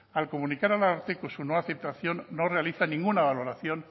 al comunicar al ararteko su nueva citación no realiza ninguna valoración